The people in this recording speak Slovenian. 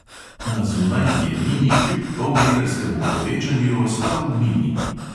Na zunaj je mini kljub polmetrskemu povečanju ostal mini.